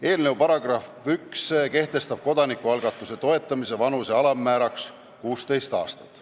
Eelnõu § 1 kehtestab kodanikualgatuse toetamise vanuse alammääraks 16 aastat.